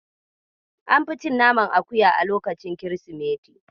An fi cin naman akuya a lokacin kirsimeti.